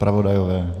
Zpravodajové?